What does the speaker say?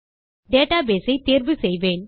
database ஐ தேர்வு செய்வேன்